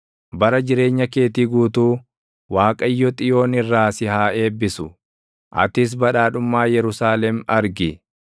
Bara jireenya keetii guutuu, Waaqayyo Xiyoon irraa si haa eebbisu; atis badhaadhummaa Yerusaalem argi.